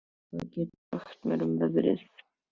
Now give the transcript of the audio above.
Guðna, hvað geturðu sagt mér um veðrið?